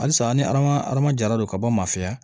Halisa an ni adamaden adamajɛra don ka bɔ a ma fɛya